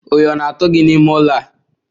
Oyi o na atu gi n'ime ụlọ a?